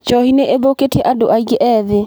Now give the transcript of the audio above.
Njohi nĩ ĩthũkĩtie andũ aingĩ ethĩ.